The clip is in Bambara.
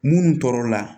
Munnu tɔɔrɔ la